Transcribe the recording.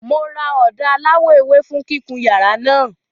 Mo ra ọ̀dà aláwọ̀ ewé fún kíkun yàrá náà.